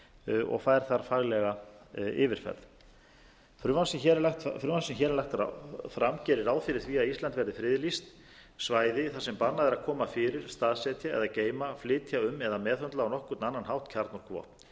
nefnd og fær þar faglega yfirferð frumvarpið sem hér er lagt fram gerir ráð fyrir því að ísland verði friðlýst svæði þar sem bannað er að koma fyrir staðsetja eða geyma flytja um eða meðhöndla á nokkurn annan hátt kjarnorkuvopn